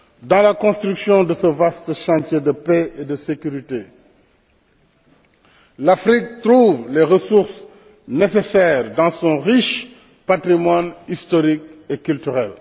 Dans la construction de ce vaste chantier de paix et de sécurité, l'Afrique trouve les ressources nécessaires dans son riche patrimoine historique et culturel.